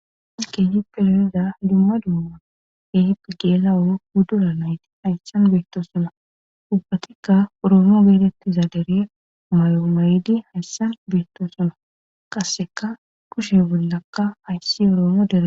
As keehipe loniza dumma dumma ehip geela oro guddura nayti hayssan beetto suna dubbatikka oroomo geetettiza dere mayo may'ydi hayssan beetto suna qasseka kushe bollakka hayssi oroomo dere.